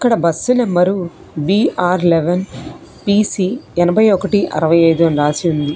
ఈడ bus number B R eleven P C ఎనభై ఒకటి అరవై ఐదు అని రాసి ఉంది